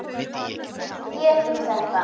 Við getum þetta.